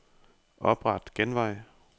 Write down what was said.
Opret genvej.